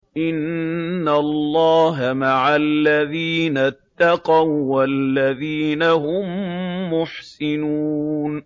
إِنَّ اللَّهَ مَعَ الَّذِينَ اتَّقَوا وَّالَّذِينَ هُم مُّحْسِنُونَ